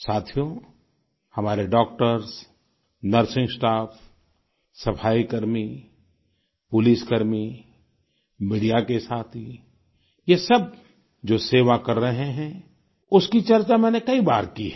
साथियो हमारे doctors nursing staff सफाईकर्मी पुलिसकर्मी मीडिया के साथी ये सब जो सेवा कर रहे हैं उसकी चर्चा मैंने कई बार की है